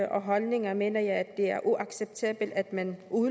og holdninger mener jeg at det er uacceptabelt at man